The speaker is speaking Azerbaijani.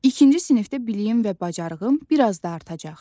İkinci sinifdə biliyim və bacarığım bir az da artacaq.